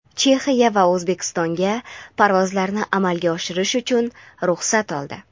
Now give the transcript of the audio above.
Chexiya va O‘zbekistonga parvozlarni amalga oshirish uchun ruxsat oldi.